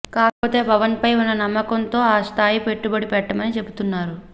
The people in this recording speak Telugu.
కాకపోతే పవన్ ఫై ఉన్న నమ్మకం తో ఆ స్థాయి పెట్టుబడి పెట్టమని చెపుతున్నారు